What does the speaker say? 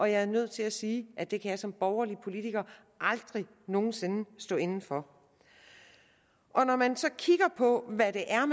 jeg er nødt til at sige at det kan jeg som borgerlig politiker aldrig nogen sinde stå inde for når man så kigger på hvad det er